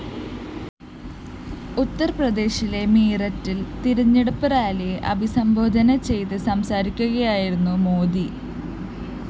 ഉത്തര്‍പ്രദേശിലെ മീററ്റില്‍ തെരഞ്ഞെടുപ്പ് റാലിയെ അഭിസംബോധന ചെയ്ത് സംസാരിക്കുകയായിരുന്നു മോദി